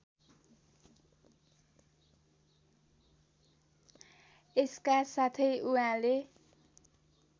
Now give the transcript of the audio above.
यसका साथै उहाँले